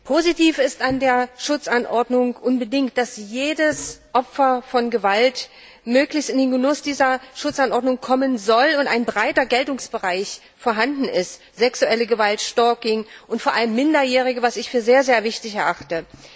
Positiv ist an der Schutzanordnung, dass jedes Opfer von Gewalt möglichst in den Genuss dieser Schutzanordnung kommen soll und ein breiter Geltungsbereich vorhanden ist sexuelle Gewalt, Stalking, und vor allem Minderjährige, was ich für sehr, sehr wichtig erachte.